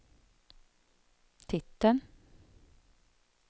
titeln